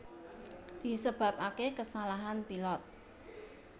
Disebabake kasalahan pilot